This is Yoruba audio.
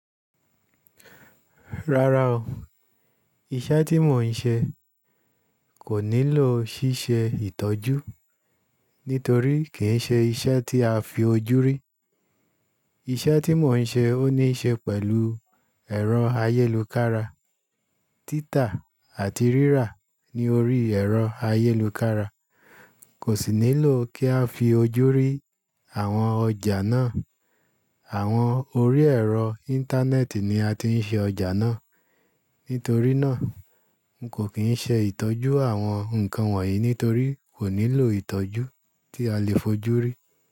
Rárá o, iṣẹ́ tí mò ń ṣe kò nílò ṣíṣe ìtọ́jú nítorí kì í ṣe iṣẹ́ tí a fi ojú rí. Iṣẹ́ tí mò ń ṣe ó níí ṣe pẹ̀lú ẹ̀rọ ayélukára. Títa àti rírà ní orí ẹ̀rọ ayélukára kò sì nílò kí a fi ojú rí àwọn ọjà náà. Àwọn orí ẹ̀rọ Íńtánẹ́ẹ̀tì ni a ti ń ṣe ọjà náà. Nítorí náà, n kò kí ń ṣe ìtọ́jú àwọn nǹkan wọ̀nyí nítorí kò nílò ìtọ́jú tí a lè fojú rí.